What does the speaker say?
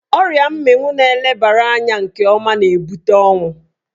Ọrịa mminwu na elebara anya nke ọma na-ebute ọnwụ.